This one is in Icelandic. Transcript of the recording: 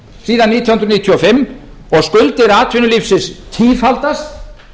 síðan nítján hundruð níutíu og fimm og skuldir atvinnulífsins tífaldast